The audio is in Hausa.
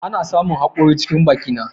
Ana samun hakori cikin bakinka.